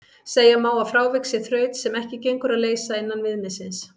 Segja má að frávik sé þraut sem ekki gengur að leysa innan viðmiðsins.